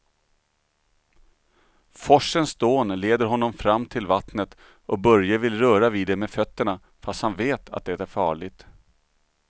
Forsens dån leder honom fram till vattnet och Börje vill röra vid det med fötterna, fast han vet att det är farligt.